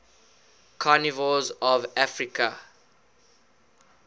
carnivores of africa